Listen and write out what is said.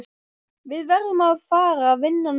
Við verðum að fara vinna núna.